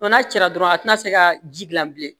N'a cira dɔrɔn a tɛna se ka ji gilan bilen